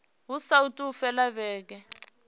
hu saathu u fhela vhege